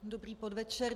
Dobrý podvečer.